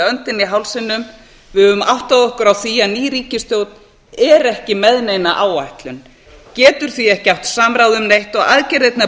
öndina í hálsinum við höfum áttað okkur á því að ný ríkisstjórn er ekki með neina áætlun getur því ekki átt samráð um neitt og aðgerðirnar